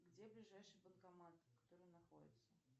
где ближайший банкомат который находится